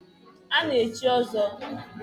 A na-echi ọzọ.